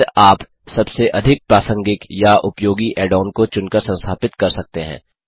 फिर आप सबसे अधिक प्रासंगिक या उपयोगी ऐड ऑन को चुन कर संस्थापित कर सकते हैं